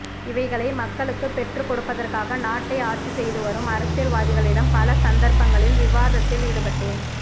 இவைகளை மக்களுக்கு பெற்றுக் கொடுப்பதற்காக நாட்டை ஆட்சி செய்துவரும் அரசியல்வாதிகளிடம் பல சந்தர்ப்பங்களில் விவாதத்தில் ஈடுபட்டேன்